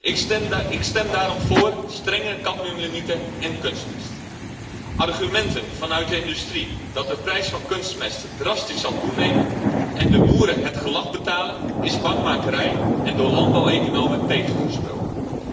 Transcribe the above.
Ik stem daarom voor strenge cadmiumlimieten in kunstmest. Argumenten vanuit de industrie dat de prijs van kunstmest drastisch zal toenemen en de boeren het gelag betalen, is bangmakerij en door landbouweconomen tegengesproken.